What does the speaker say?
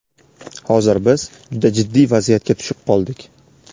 Hozir biz juda jiddiy vaziyatga tushib qoldik.